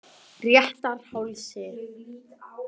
Réttarhálsi